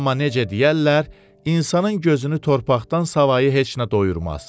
Amma necə deyərlər, insanın gözünü torpaqdan savayı heç nə doyurmaz.